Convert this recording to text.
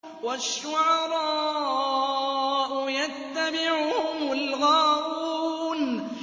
وَالشُّعَرَاءُ يَتَّبِعُهُمُ الْغَاوُونَ